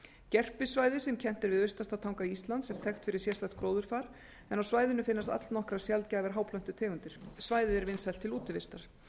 gerpissvæðið sem kennt er við austasta tanga íslands er þekkt fyrir sérstætt gróðurfar en á svæðinu finnast allnokkrar sjaldgæfar háplöntutegundir svæðið er vinsælt til útivistar